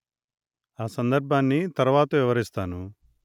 ఆ సందర్భాన్ని తర్వాత వివరిస్తాను